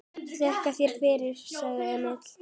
Þakka þér fyrir, sagði Emil.